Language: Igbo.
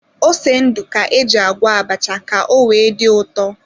Ose ndụ ka éjị agwọ abacha ka o wee dị ụtọ